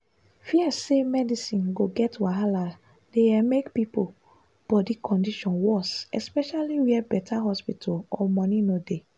fear say medicine go get wahala dey um make people body condition worse especially where better hospital or money no dey.